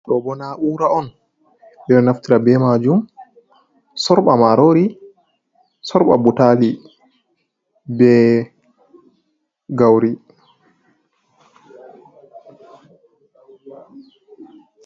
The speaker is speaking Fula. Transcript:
Ɗo bo do na'ura on ɓe ɗo naftira be majum sorɓa marori, sorɓa butali be gauri.